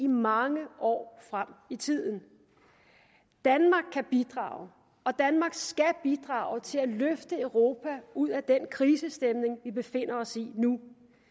mange år frem i tiden danmark kan bidrage og danmark skal bidrage til at løfte europa ud af den krisestemning vi befinder os i nu